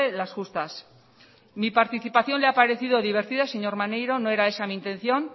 las justas mi participación le ha parecido divertida señor maneiro no era esa mi intención